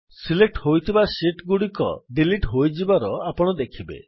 select ହୋଇଥିବା sheet ଗୁଡିକ delete ହୋଇଯିବାର ଆପଣ ଦେଖିବେ